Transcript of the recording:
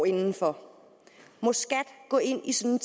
indenfor må skat gå ind i sådan